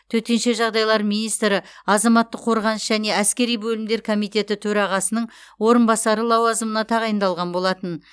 төтенше жағдайлар министрі азаматтық қорғаныс және әскери бөлімдер комитеті төрағасының орынбасары лауазымына тағайындалған болатын